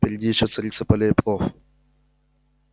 впереди ещё царица полей плов